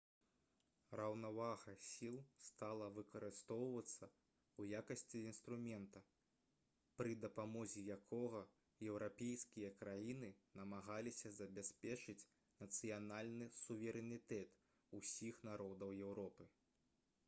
раўнавага сіл стала выкарыстоўвацца ў якасці інструмента пры дапамозе якога еўрапейскія краіны намагаліся забяспечыць нацыянальны суверэнітэт усіх народаў еўропы